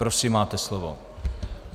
Prosím máte slovo.